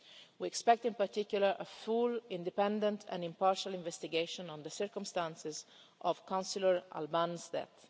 We expect, in particular, a full, independent and impartial investigation into the circumstances of Councillor Albán's